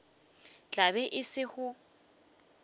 tla be e le go